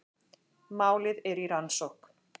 Málið er í rannsókn